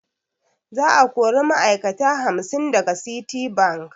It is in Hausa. Za a kori ma'ai'kata hamsin daga Citibank.